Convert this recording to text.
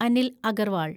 Anil Agarwal